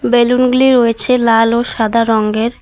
Balloon -গুলি রয়েছে লাল ও সাদা রঙ্গের।